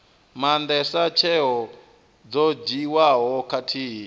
maandesa tsheo dzo dzhiiwaho khathihi